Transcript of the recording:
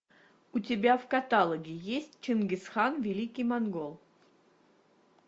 у тебя в каталоге есть чингисхан великий монгол